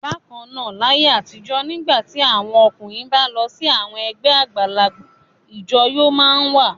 Bákan náà, láyé àtijọ́ nígbà tí àwọn ọkùnrin bá ń lọ sí àwọn ẹgbẹ́ àgbàlagbà ìjọyọ̀ máa ń wà.